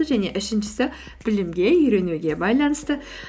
және үшіншісі білімге үйренуге байланысты